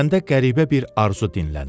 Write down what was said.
Məndə qəribə bir arzu dinlənir.